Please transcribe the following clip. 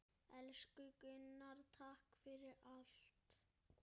Elsku Gunnar, takk fyrir allt.